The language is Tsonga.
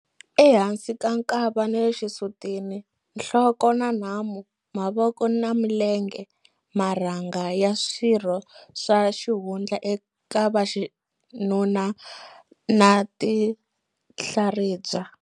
Ehansi ka nkava na le xisutini, nhloko na nhamu, mavoko na milenge, marhanga ya swirho swa xihundla eka vaxinuna na tinhlaribya.